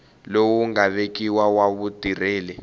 lowu nga vekiwa wa vutirheli